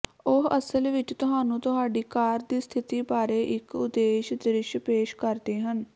ਉਹ ਅਸਲ ਵਿੱਚ ਤੁਹਾਨੂੰ ਤੁਹਾਡੀ ਕਾਰ ਦੀ ਸਥਿਤੀ ਬਾਰੇ ਇੱਕ ਉਦੇਸ਼ ਦ੍ਰਿਸ਼ ਪੇਸ਼ ਕਰਦੇ ਹਨ